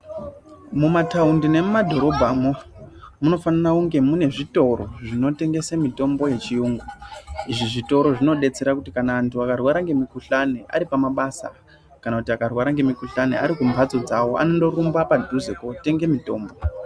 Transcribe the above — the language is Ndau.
Mumataundi nemumadhirobhamo munofanira kunge mune zvitoro zvinotengesa mitombo yechirungu izvi zvitoro zvinodetsera kuti kana antu akarwara ngemukuhlani aripamabasa kana kuti akarwara ngemukuhlani Ari kumbatso dzawo anorumba padhuze kotenga mutombo.